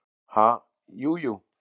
Ha, jú, jú.